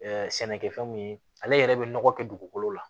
sɛnɛkɛfɛn mun ye ale yɛrɛ bɛ nɔgɔ kɛ dugukolo la